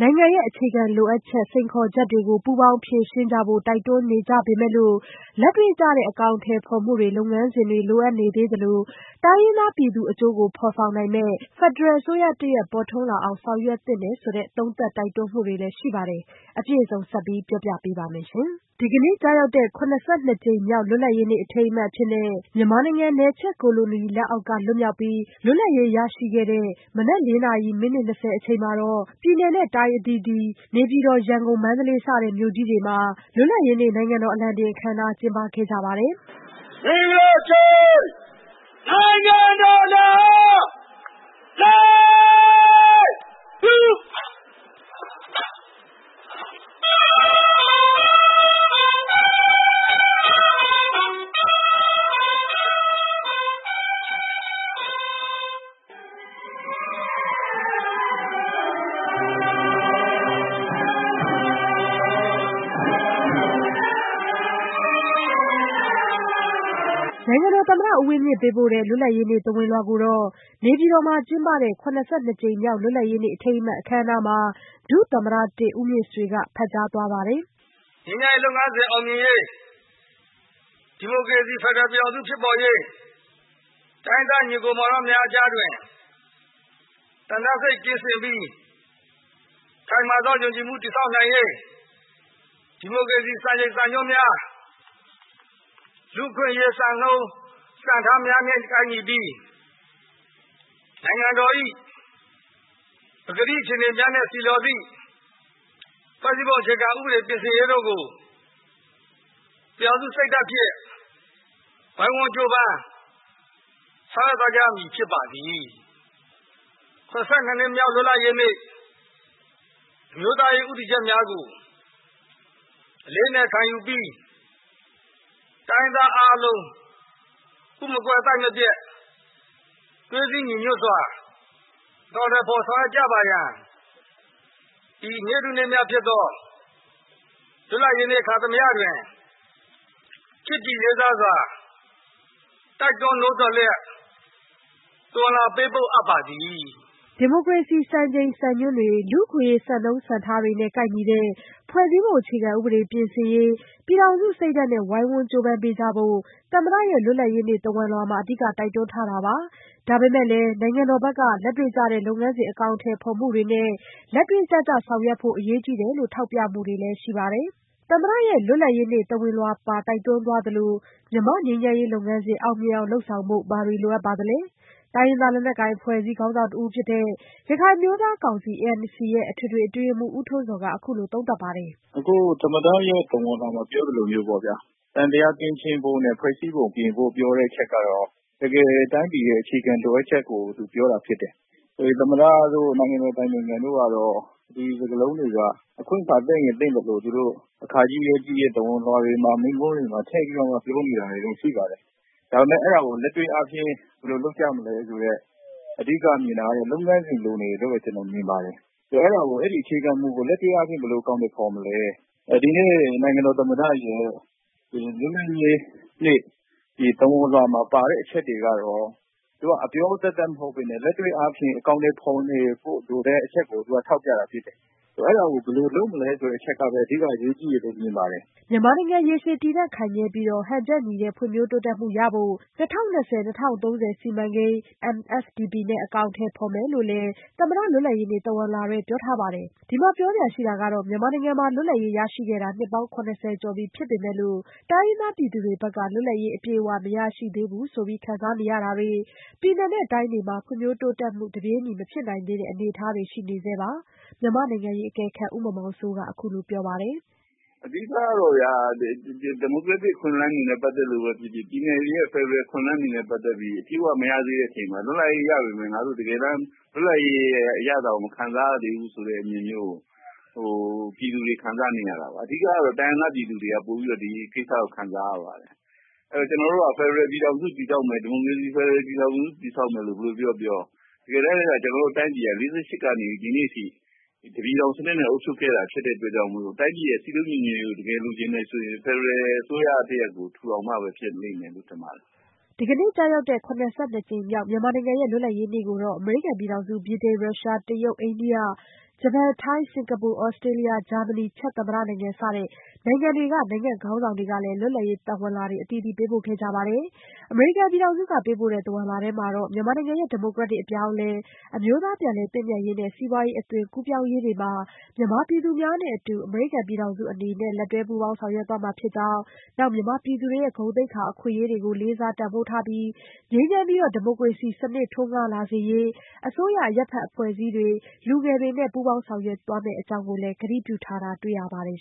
နိုင်ငံရဲ့ အခြေခံလိုအပ်ချက် စိန်ခေါ်ချက်တွေ ပူးပေါင်းဖြေရှင်းကြဖို့ တိုက်တွန်းနေကြပေမယ့်လို့ လက်တွေ့ကျတဲ့ အကောင်အထည်ဖော်မှုတွေ လုပ်ငန်းစဉ်တွေ လိုအပ်နေသေးသလို တိုင်းရင်းသားပြည်သူအကျိုးကို ဖော်ဆောင်နိုင်မယ့် ဖက်ဒရယ်အစိုးရတရပ် ပေါ်ထွန်းလာအောင် ဆောင်ရွက်သင့်တယ်လို့လည်း သုံးသပ်တိုက်တွန်းမှုတွေ ရှိပါတယ်။ အပြည့်အစုံကို မဆုမွန်က စုစည်းတင်ပြထားပါတယ်။ ဒီကနေ့ကျရောက်တဲ့ ၇၂ ကြိမ်မြောက် လွတ်လပ်ရေးနေ့ အထိမ်းအမှတ်အဖြစ် မြန်မာနိုင်ငံ နယ်ချဲ့ကိုလိုနီလက်အောက်က လွတ်မြောက်ပြီး လွတ်လပ်ရေးရရှိခဲ့တဲ့ မနက် ၄ နာရီ မိနစ် ၂၀ အချိန်မှာ ပြည်နယ်၊ တိုင်း အသီးသီး၊ နေပြည်တော်၊ ရန်ကုန်-မန္တလေး စတဲ့ မြို့ကြီးတွေမှာ လွတ်လပ်ရေးနေ့ နိုင်ငံတော် အလံတင်အခမ်းအနားကို ကျင်းပခဲ့ကြပါတယ်။ နိုင်ငံတော်သမ္မတ ဦးဝင်းမြင့် ပေးပို့တဲ့ လွတ်လပ်ရေးနေ့ သဝဏ်လွှာကိုတော့ နေပြည်တော်မှာ ကျင်းပတဲ့ ၇၂ ကြိမ်မြောက် လွတ်လပ်ရေးနေ့ အထိမ်းအမှတ် အခမ်းအနားမှာ ဒုသမ္မတ-၁ ဦးမြင့်ဆွေက ဖတ်ကြားသွားပါတယ်။ “မြန်မာ့ငြိမ်းချမ်းရေး လုပ်ငန်းစဉ် အောင်မြင်ရေး၊ ဒီမိုကရေစီ ဖက်ဒရယ်ပြည်ထောင်စု ဖြစ်ပေါ်ရေး၊ တိုင်းရင်းသား ညီအစ်ကိုမောင်နှမများအကြား သံသယစိတ် ကင်းစင်ပြီး ခိုင်မာသောယုံကြည်မှု တည်ဆောက်နိုင်ရေး ဒီမိုကရေစီ စံချိန်စံညွှန်းများ လူ့အခွင့်အရေး စံနှုန်းစံထားများနဲ့ ကိုက်ညီပြီး နိုင်ငံတော်၏ ပကတိ အခြေအနေများနှင့် ဆီလျော်သည့် ဖွဲ့စည်းပုံအခြေခံဥပဒေ ပြင်ဆင်ရေးတို့ကို ပြည်ထောင်စုစိတ်ဓာတ်ဖြင့် ဝိုင်းဝန်းကြိုးပမ်း ဆောင်ရွက်သွားကြရမည် ဖြစ်ပါသည်။ ၇၂ နှစ်မြောက် လွတ်လပ်ရေးနေ့ အမျိုးသားရေး ဦးတည်ချက်များကို အလေးအနက် ခံယူပြီး တိုင်းရင်းသားအားလုံး ဥမကွဲ သိုက်မပျက် သွေးစည်းညီညွတ်စွာ အကောင်အထည်ဖော် ဆောင်ရွက်ကြပါရန် ဤနေ့ထူးနေ့မြတ်ဖြစ်သော လွတ်လပ်ရေးနေ့ အခါသမယတွင် ချစ်ကြည်လေးစားစွာ တိုက်တွန်းနှိုးဆော်လျက် သဝဏ်လွှာ ပေးပို့အပ်ပါသည်။” လူ့အခွင့်အရေး စံနှုန်းစံထားတွေနဲ့ ကိုက်ညီတဲ့ ဖွဲ့စည်းပုံအခြေခံဥပဒေ ပြင်ဆင်ရေး ပြည်ထောင်စုစိတ်ဓာတ်နဲ့ ဝိုင်းဝန်းကြိုးပမ်းပေးကြဖို့ သမ္မတရဲ့ လွတ်လပ်ရေးနေ့ သဝဏ်လွှာမှာ အဓိက တိုက်တွန်းထားတာပါ။ ဒါပေမယ့် နိုင်ငံတော်ဘက်က လက်တွေ့ကျတဲ့ လုပ်ငန်းစဉ် အကောင်အထည်ဖော်မှုတွေနဲ့ လက်တွေ့ကျကျ ဆောင်ရွက်ဖို့ အရေးကြီးတယ်လို့ ထောက်ပြမှုတွေလည်း ရှိပါတယ်။ သမ္မတရဲ့ လွတ်လပ်ရေးနေ့ သဝဏ်လွှာပါ တိုက်တွန်းသွားသလို မြန်မာ့ငြိမ်းချမ်းရေးလုပ်ငန်းစဉ် အောင်မြင်အောင် လုပ်ဆောင်ဖို့ ဘာတွေလိုအပ်ပါသလဲ။ တိုင်းရင်းသား လက်နက်ကိုင်အဖွဲ့အစည်း ခေါင်းဆောင်တဦးဖြစ်တဲ့ ရခိုင်အမျိုးသားကောင်စီ (ANC) ရဲ့ အထွေထွေအတွင်းရေးမှူး ဦးထွန်းဇော်က အခုလိုသုံးသပ်ပါတယ်။ “အခု သမ္မတရဲ့ သဝဏ်လွှာမှာ ပြောသလိုမျိုးပေါ့ဗျာ သံသယကင်းရှင်းဖို့နဲ့ ဖွဲ့စည်းပုံ ပြင်ဖို့ ပြောတဲ့အချက်ကတော့ တကယ် တိုင်းပြည်ရဲ့ အခြေခံလိုအပ်ချက်ကို သူပြောတာဖြစ်တယ်။ သမ္မတတို့ နိုင်ငံတော်အတိုင်ပင်ခံတို့ကတော့ ဒီစကားလုံးတွေက အခွင့်အခါ သင့်ရင်သင့်သလို သူတို့ အခါကြီး ရက်ကြီး သဝဏ်လွှာတွေမှာ မိန့်ခွန်းတွေမှာ ထည့်ပြီး ပြောနေတာတော့ ရှိပါတယ်။ ဒါပေမယ့် အဲဒါကို လက်တွေ့အားဖြင့် ဘယ်လိုလုပ်ကြမလဲဆိုတဲ့ အဓိကမြင်တာတော့ လုပ်ငန်းစဉ် လိုနေတယ်လို့ ကျနော်မြင်ပါတယ်။ အဲဒီ အခြေခံမူကို လက်တွေ့အားဖြင့် ဘယ်လို အကောင်အထည် ဖော်မလဲ။ ဒီနေ့ နိုင်ငံတော်သမ္မတရဲ့ လွတ်လပ်ရေးနေ့ သဝဏ်လွှာမှာပါတဲ့ အချက်တွေကတော့ အပြောသက်သက် မဟုတ်ဘဲနဲ့ လက်တွေ့အားဖြင့် အကောင်အထည် ဖော်နေဖို့ လိုတဲ့အချက်ကို သူက ထောက်ပြတာဖြစ်တယ်။ အဲဒါကို ဘယ်လိုလုပ်မလဲ ဆိုတဲ့ အချက်ကပဲ အဓိက အရေးကြီးတယ်လို့ မြင်ပါတယ်။” မြန်မာနိုင်ငံ ရေရှည်တည်တံ့ခိုင်မြဲပြီး ဟန်ချက်ညီတဲ့ ဖွံ့ဖြိုးတိုးတက်မှုရဖို့ ၂၀၂၀-၂၀၃၀ စီမံကိန်း (Myanmar Sustainable Development Plan MSDP) နဲ့ အကောင်အထည် ဖော်မယ်လို့လည်း သမ္မတ လွတ်လပ်ရေးနေ့ သဝဏ်လွှာထဲမှာ ပြောထားပါတယ်။ ဒီမှာ ပြောစရာရှိတာက မြန်မာနိုင်ငံမှာ လွတ်လပ်ရေးရရှိခဲ့တာ နှစ်ပေါင်း ၇၀ ကျော်ပြီ ဖြစ်ပေမယ့်လို့ တိုင်းရင်းသားပြည်သူတွေဘက်က လွတ်လပ်ရေး အပြည့်အဝ မရရှိသေးဘူးလို့ ခံစားနေရတာတွေ၊ ပြည်နယ် တိုင်းတွေမှာ ဖွံ့ဖြိုးတိုးတက်မှု တပြေးညီ မဖြစ်နိုင်သေးတဲ့ အနေအထားတွေ ရှိနေဆဲပါ။ မြန်မာ့နိုင်ငံရေးအကဲခတ် ဦးမောင်မောင်စိုးက အခုလို ပြောပါတယ်။ “အဓိကတော့ ဒီမိုကရက်တစ် အခွင့်အလမ်းတွေနဲ့ ပတ်သက်လို့ပဲဖြစ်ဖြစ် ပြည်နယ်တွေရဲ့ ဖက်ဒရယ် အခွင့်အလမ်းတွေနဲ့ ပတ်သက်ပြီး အပြည့်အဝ မရသေးတဲ့ အချိန်မှာ လွတ်လပ်ရေး ရပေမယ့် ငါတို့ တကယ်တမ်း လွတ်လပ်ရေးရဲ့ အရသာကို မခံစားရသေးဘူးဆိုတဲ့ အမြင်မျိုးကို ပြည်သူတွေ ခံစားနေရတာပါ။ အဓိကတော့ တိုင်းရင်းသား ပြည်သူတွေက ပိုပြီးတော့ ဒီကိစ္စကို ခံစားရပါတယ်။ ကျနော်တို့က ဖက်ဒရယ်ပြည်ထောင်စု တည်ဆောက်မယ်၊ ဒီမိုကရေစီ ဖက်ဒရယ်ပြည်ထောင်စု တည်ဆောက်မယ်လို့ ဘယ်လိုပြောပြော တကယ်တမ်း ကျနော်တို့တိုင်းပြည်က ၄၈ ကနေ ဒီနေ့အထိ တပြည်ထောင်စနစ်နဲ့ အုပ်ချုပ်ခဲ့တာ ဖြစ်တဲ့အတွက် တိုင်းပြည်ရဲ့ စည်းလုံးညီညွတ်ရေးကို တကယ်လိုချင်တယ်ဆိုရင် ဖက်ဒရယ်အစိုးရတရပ်ကို ထူထောင်မှပဲ ဖြစ်လိမ့်မယ်လို့ ထင်ပါတယ်။” ဒီကနေ့ကျရောက်တဲ့ ၇၂ နှစ်မြောက် မြန်မာနိုင်ငံရဲ့ လွတ်လပ်ရေးနေ့ကို အမေရိကန်ပြည်ထောင်စု၊ ဗြိတိန်၊ ရုရှားနိုင်ငံ၊ တရုတ်နိုင်ငံ၊ အိန္ဒိယနိုင်ငံ၊ ဂျပန်နိုင်ငံ၊ ထိုင်း၊ စင်ကာပူ၊ သြစတြေးလျ၊ ဂျာမနီ၊ ချက်သမ္မတနိုင်ငံ စတဲ့ နိုင်ငံတွေက နိုင်ငံ့ခေါင်းဆောင်တွေကလည်း လွတ်လပ်ရေးသဝဏ်လွှာတွေ ပေးပို့ခဲ့ကြပါတယ်။ အမေရိကန်ပြည်ထောင်စုက ပေးပို့တဲ့ သဝဏ်လွှာမှာတော့ မြန်မာနိုင်ငံရဲ့ ဒီမိုကရက်တစ် အပြောင်းအလဲ၊ အမျိုးသားပြန်လည်သင့်မြတ်ရေးနဲ့ စီးပွားရေး အသွင်ကူးပြောင်းရေးတွေမှာ မြန်မာပြည်သူများနဲ့အတူ အမေရိကန်ပြည်ထောင်စု အနေနဲ့ လက်တွဲပူးပေါင်း ဆောင်ရွက်သွားမှာဖြစ်ကြောင်း၊ မြန်မာပြည်သူတွေရဲ့ ဂုဏ်သိက္ခာ၊ အခွင့်အရေးတွေကို လေးစားတန်ဖိုးထားပြီး ငြိမ်းချမ်းပြီး ဒီမိုကရေစီစနစ် ထွန်းကားလာစေရေး အစိုးရ၊ အရပ်ဘက်အဖွဲ့စည်းတွေ၊ လူငယ်တွေနဲ့ ပူးပေါင်းဆောင်ရွက်သွားမယ့်အကြောင်း ကတိပြုထားတာ တွေ့ရပါတယ်